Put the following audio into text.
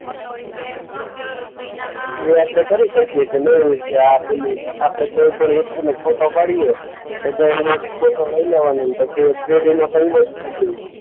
એ આપણે કરી શકીએ છે ને કે આ પેલી આપણે કોઈ પણ વસ્તુનો ફોટો પાડીએ, લઈ લેવાનું ને પછી એ થ્રીડીમાં થઈ જાય.